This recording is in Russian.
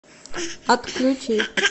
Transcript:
отключи